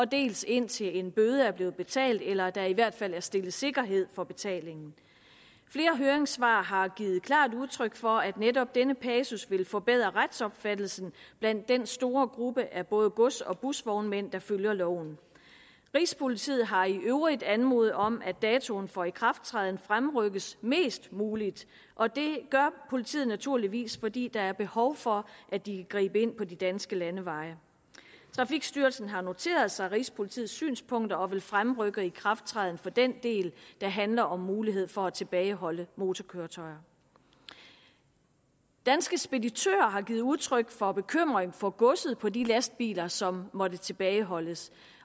dels indtil en bøde blevet betalt eller der i hvert fald er stillet sikkerhed for betalingen flere høringssvar har givet klart udtryk for at netop denne passus vil forbedre retsopfattelsen blandt den store gruppe af både gods og busvognmænd der følger loven rigspolitiet har i øvrigt anmodet om at datoen for ikrafttræden fremrykkes mest muligt og det gør politiet naturligvis fordi der er behov for at de kan gribe ind på de danske landeveje trafikstyrelsen har noteret sig rigspolitiets synspunkter og vil fremrykke ikrafttræden for den del der handler om mulighed for at tilbageholde motorkøretøjer danske speditører har givet udtryk for bekymring for godset på de lastbiler som måtte tilbageholdes